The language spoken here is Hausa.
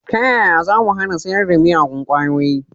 Ta yaya zamu hana sayar da miyagun kwayoyi